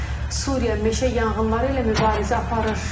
Suriya meşə yanğınları ilə mübarizə aparır.